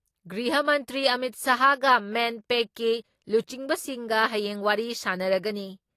ꯒ꯭ꯔꯤꯍ ꯃꯟꯇ꯭ꯔꯤ ꯑꯃꯤꯠ ꯁꯥꯍꯒ ꯃꯦꯟꯄꯦꯛꯀꯤ ꯂꯨꯆꯤꯡꯕꯁꯤꯡꯒ ꯍꯌꯦꯡ ꯋꯥꯔꯤ ꯁꯥꯟꯅꯔꯒꯅꯤ ꯫